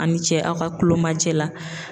Ani cɛ aw ka kulomajɛ la